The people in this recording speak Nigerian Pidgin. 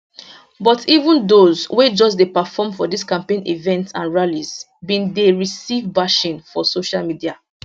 but even dose wey just dey perform for dis campaign events and rallies bin dey receive bashing for social media